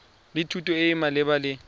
le thuto e e maleba